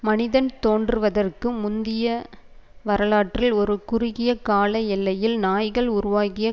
மனிதன் தோன்றுவதற்கு முந்திய வரலாற்றில் ஒரு குறுகிய கால எல்லையில் நாய்கள் உருவாகிய